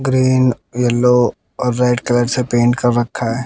Green yellow और red colour से paint कर रखा है।